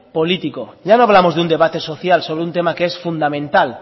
político ya no hablamos de un debate social sobre un tema que es fundamental